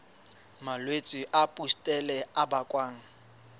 malwetse a pustule a bakwang